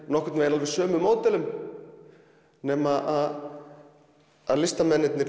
nokkurn veginn eftir sömu módelum nema að listamenn